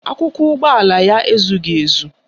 Akwụkwọ ụgbọala ya ezughị ezu